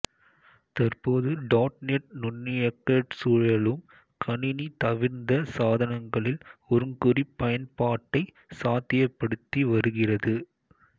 தற்போது dot net நுண்ணியக்க சூழலும் கணினி தவிர்ந்த சாதனங்களில் ஒருங்குறிப்பயன்பாட்டை சாத்தியப்படுத்திவருகிறது